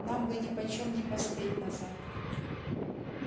нам бы ни почём не поспеть назад